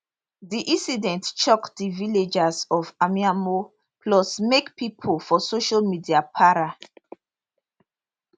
di incident shock di villagers of amaimo plus make pipo for social media para